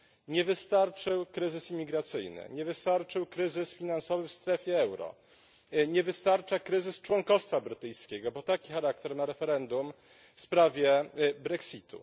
Nie wystarczył kryzys imigracyjny, nie wystarczył kryzys finansowy w strefie euro, nie wystarcza kryzys członkostwa brytyjskiego, bo taki charakter ma referendum w sprawie Brexit u.